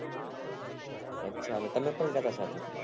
અચ્છા એટલે તમે પણ ગયા હતા સાથે